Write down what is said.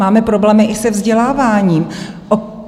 Máme problémy i se vzděláváním.